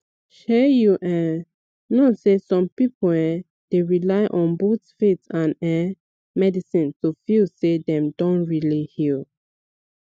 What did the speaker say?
shey you um know sey some people um dey rely on both faith and um medicine to feel say dem don really heal